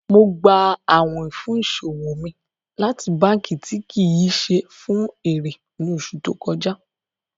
Mo gbà àwìn fún iṣọwọ mi láti bankí tí kí ṣé fun èrè ní oṣù tó kọja.